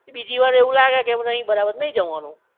બીજી વાર એવું લાગે કે એ નહિ બરાબર તો નઇ જવાનું